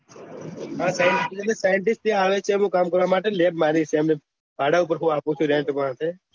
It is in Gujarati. હા scientist ત્યાં આવે છે તેમનું કામ કરવા માટે લેબ મારી છે આપું છું રેન્ટ માટે